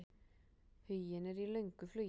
Huginn er í löngu flugi.